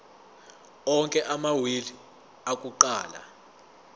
onke amawili akuqala